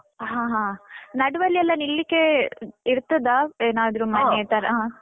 ಹಾ, ಹ. ನಡುವೆಯಲ್ಲಿ ಎಲ್ಲ ನಿಲ್ಲಿಕ್ಕೆ ಇರ್ತದ ಏನಾದ್ರೂ ತರ?